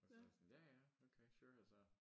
Og så sådan ja ja okay sure og så